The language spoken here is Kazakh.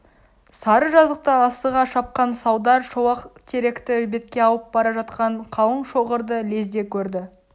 сары жазықта асыға шапқан салдар шолақтеректі бетке алып бара жатқан қалың шоғырды лезде көрді